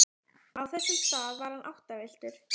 Á þessum stað var hann áttavilltur.